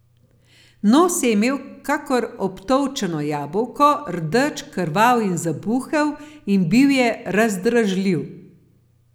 Nos je imel kakor obtolčeno jabolko, rdeč, krvav in zabuhel, in bil je razdražljiv.